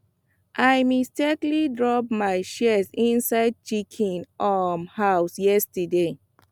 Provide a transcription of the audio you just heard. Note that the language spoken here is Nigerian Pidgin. i mistakenly drop my shears inside chicken um house yesterday